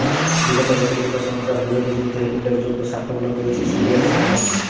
বিগত বছরগুলো সন্ত্রাস বিরোধী যুদ্ধে উল্লেখযোগ্য সাফল্য পেয়েছে সিরিয়ার সেনাবাহিনী